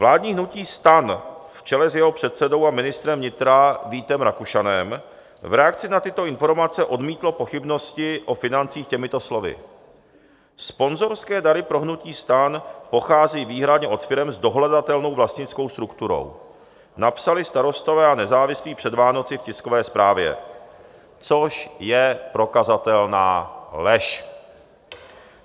Vládní hnutí STAN v čele s jeho předsedou a ministrem vnitra Vítem Rakušanem v reakci na tyto informace odmítlo pochybnosti o financích těmito slovy: "Sponzorské dary pro hnutí STAN pochází výhradně od firem s dohledatelnou vlastnickou strukturou," napsali Starostové a nezávislí před Vánoci v tiskové zprávě, což je prokazatelná lež.